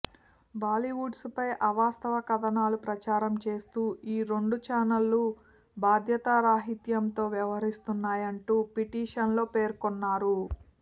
బాలీవుడ్పై అవాస్తవ కథనాలు ప్రసారం చేస్తూ ఈ రెండు ఛానెళ్లు బాధ్యతారాహిత్యంతో వ్యవహరిస్తున్నాయంటూ పిటిషన్లో పేర్కొన్నారు